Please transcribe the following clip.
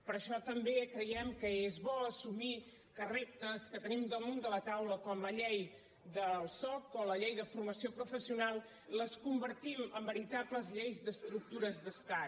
per això també creiem que és bo assumir que reptes que tenim damunt de la taula com la llei del soc o la llei de formació professional les con·vertim en veritables lleis d’estructures d’estat